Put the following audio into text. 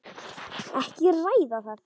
Ekki að ræða það!